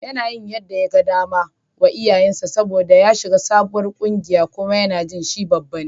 Yana yin yadda yaga dama wa iyayensa saboda ya shiga sabuwar ƙungiya kuma yana jin shi babba ne.